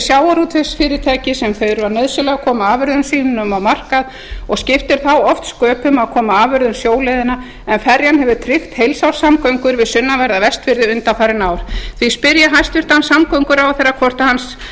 sjávarútvegsfyrirtæki sem þurfa nauðsynlega að koma afurðum sínum á markað og skiptir þá oft sköpum að koma afurðum sjóleiðina en ferjan hefur tryggt heilsárssamgöngur við sunnanverða vestfirði undanfarin ár því spyr ég hæstvirtan samgönguráðherra